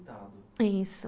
isso.